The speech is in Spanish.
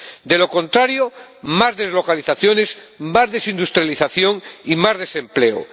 De lo contrario, tendremos más deslocalizaciones, más desindustrialización y más desempleo.